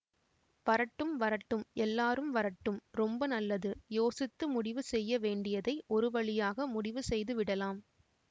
வரட்டும் வரட்டும் எல்லாரும் வரட்டும் ரொம்ப நல்லது யோசித்து முடிவு செய்ய வேண்டியதை ஒரு வழியாக முடிவு செய்து விடலாம்